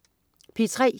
P3: